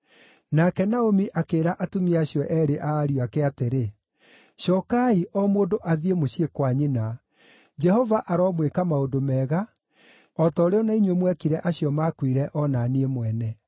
Nake Naomi akĩĩra atumia acio eerĩ a ariũ ake atĩrĩ, “Cookai, o mũndũ athiĩ mũciĩ kwa nyina. Jehova aromwĩka maũndũ mega, o ta ũrĩa o na inyuĩ mwekire acio maakuire, o na niĩ mwene.